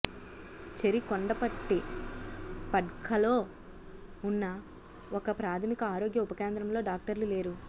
చెరికొండపట్టి పడ్కల్లో ఉన్న ఒక ప్రాథమిక ఆరోగ్య ఉప కేంద్రంలో డాక్టర్లు లేరు